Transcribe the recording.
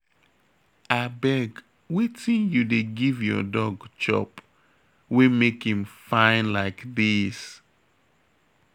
Abeg wetin you dey give your dog chop wey make im fine like dis?